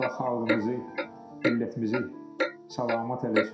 Allah xalqımızı, millətimizi salamat eləsin.